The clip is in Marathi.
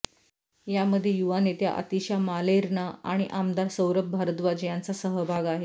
यामध्ये युवा नेत्या आतिशा मालेर्ना आणि आमदार सौरभ भारद्वाज यांचा सहभाग आहे